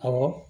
Awɔ